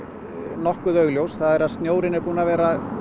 nokkuð augljós snjórinn er búinn að vera að